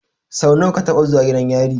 Sau nawa ka taɓa zuwa gidan yari?